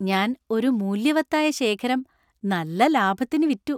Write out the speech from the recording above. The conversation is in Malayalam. ഞാൻ ഒരു മൂല്യവത്തായ ശേഖരം നല്ല ലാഭത്തിന് വിറ്റു.